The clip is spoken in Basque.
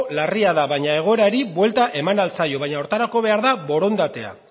larria da baina egoerari buelta eman ahal zaio baino horretarako behar da borondatea